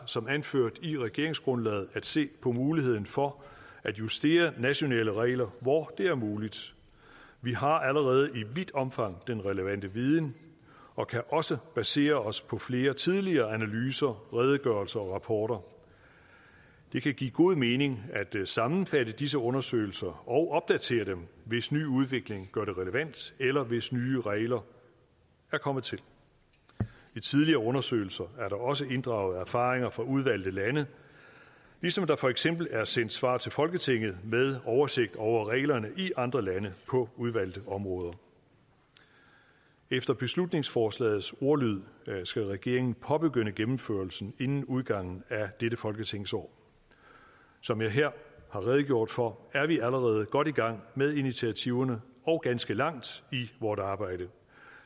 som anført i regeringsgrundlaget at se på muligheden for at justere nationale regler hvor det er muligt vi har allerede i vidt omfang den relevante viden og kan også basere os på flere tidligere analyser redegørelser og rapporter det kan give god mening at sammenfatte disse undersøgelser og opdatere dem hvis ny udvikling gør det relevant eller hvis nye regler er kommet til i tidligere undersøgelser er der også inddraget erfaringer fra udvalgte lande ligesom der for eksempel er sendt svar til folketinget med en oversigt over reglerne i andre lande på udvalgte områder efter beslutningsforslagets ordlyd skal regeringen påbegynde gennemførelsen inden udgangen af dette folketingsår som jeg her har redegjort for er vi allerede godt i gang med initiativerne og ganske langt i vort arbejde